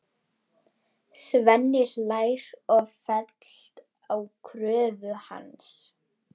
Svenni hlær og fellst á kröfu hans.